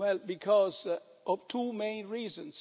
Because of two main reasons.